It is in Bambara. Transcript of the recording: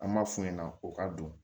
An b'a f'u ɲɛna o ka don